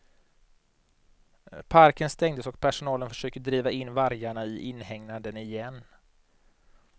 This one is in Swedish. Parken stängdes och personalen försökte driva in vargarna i inhägnaden igen.